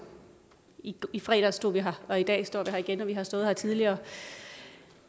i fredags stod vi her og i dag står vi her igen og vi har stået her tidligere